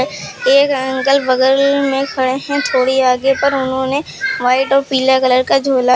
एक अंकल बगल में खड़े हैं थोड़ी आगे पर उन्होंने व्हाइट और पीला कलर का झोला--